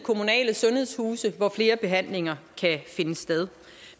kommunale sundhedshuse hvor flere behandlinger kan finde sted